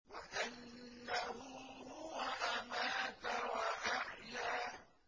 وَأَنَّهُ هُوَ أَمَاتَ وَأَحْيَا